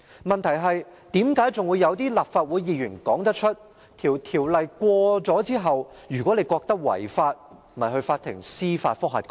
問題是，竟然有些立法會議員說："《條例草案》獲通過後，如果你認為它違法，便向法庭提出司法覆核吧！